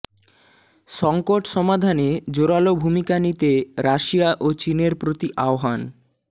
সংকট সমাধানে জোরালো ভূমিকা নিতে রাশিয়া ও চীনের প্রতি আহ্বান